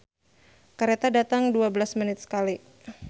"Kareta datang dua belas menit sakali"